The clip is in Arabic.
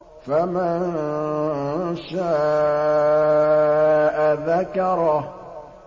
فَمَن شَاءَ ذَكَرَهُ